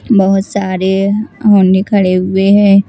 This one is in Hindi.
बहोत सारे होने खड़े हुए हैं।